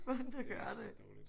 Ja det er også lidt dårligt